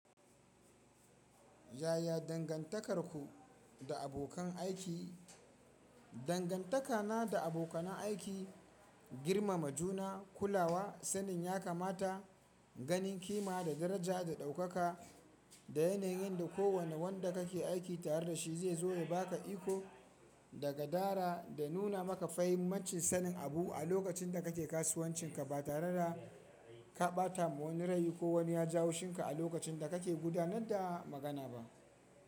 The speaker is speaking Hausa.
Yaya dangantakarku da abokan aiki? Dangantakana da abokanan aiki, girmama juna, kulawa, sanin ya kamata, ganin kima da daraja da ɗaukaka, da yanayinda kowane wanda kake aiki tare dashi zaizo ya baka iko da gadara da nuna maka fahimmancin sanin abu a lokacin da kake kasuwancinka ba tareda ka ɓatama wani rai ko wani yaji haushinka a lokacinda kake gudanar da magana ba.